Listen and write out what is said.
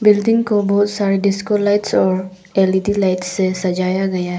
Building को बहुत सारा डिस्को लाइट्स और एल_ई_डी लाइट से सजाया गया है।